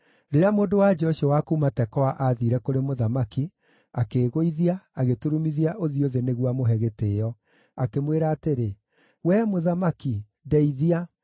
Rĩrĩa mũndũ-wa-nja ũcio wa kuuma Tekoa aathiire kũrĩ mũthamaki, akĩĩgũithia, agĩturumithia ũthiĩ thĩ nĩguo amũhe gĩtĩĩo, akĩmwĩra atĩrĩ, “Wee mũthamaki, ndeithia!”